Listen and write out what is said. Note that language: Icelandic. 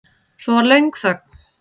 Svo var löng þögn.